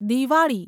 Diwali